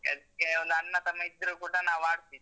ಅದ್ಕೆ ಒಂದ್ ಅಣ್ಣ ತಮ್ಮ ಇದ್ರೂ ಕೂಡ ನಾವು ಆಡ್ತೀವಿ.